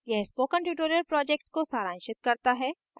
यह spoken tutorial project को सारांशित करता है